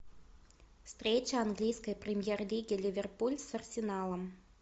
встреча английской премьер лиги ливерпуль с арсеналом